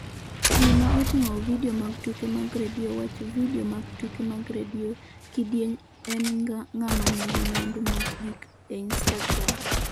Gima Oting'o Vidio mag Tuke mag Radio Wach Video mag Tuke mag Radio Kidieny en ‘ng'ama nigi mwandu mogik' e Instagram.